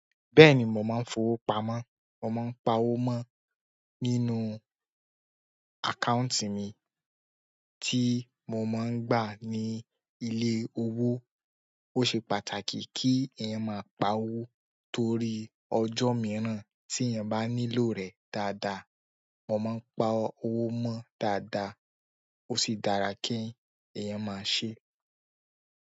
Bẹ́ẹ̀ni, mò maa ń fowó pamọ́, mò maa ń pa owó mọ́ nínú àkáùntì mi tí mo máa ń gbà ní ilé owó. Ó ṣe pàtàkì kí èèyàn má pa owó torí ọjọ́ mìíràn tí èèyàn bá nílò rẹ̀ dáadáa. Mo máa ń pa owó mó dáadáa ó sì dára kí èèyàn má ṣe.